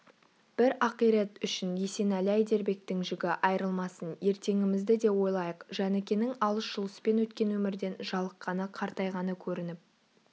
бір ақирек үшін есенәлі-әйдербектің жігі айрылмасын ертеңімізді де ойлайық жәнікенің алыс-жұлыспен өткен өмірден жалыққаны қартайғаны көрініп